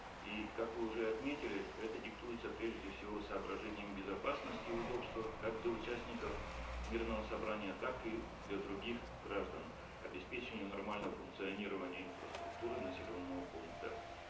и как вы уже отметили это диктуется прежде всего соображением безопасности и удобства как для участников мирного собрания так и для других граждан обеспечению нормального функционирования инфраструктуры населенного пункта